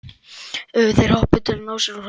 Þeir hoppuðu um til að ná úr sér hrollinum.